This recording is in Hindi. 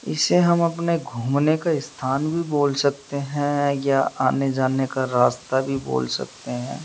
इसे हम अपने घूमने का स्थान भी बोल सकते है या आने जाने का रास्ता भी बोल सकते है।